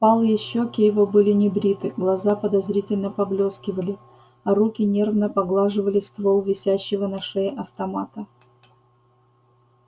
впалые щеки его были небриты глаза подозрительно поблескивали а руки нервно поглаживали ствол висящего на шее автомата